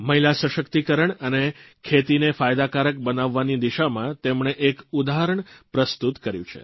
મહિલા સશક્તિકરણ અને ખેતીને ફાયદાકારક બનાવવાની દિશામાં તેમણે એક ઉદાહરણ પ્રસ્તુત કર્યું છે